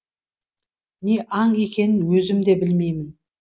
не аң екенін өзім де білмеймін